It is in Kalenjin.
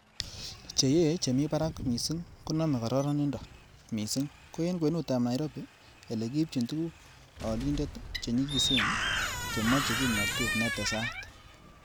cheye che mi barak missing konome kororonindo, missing ko en kwenutab Nairobi, ele kiibchin tuguk olindet che nyigisen, chemoche kimnotet netesat.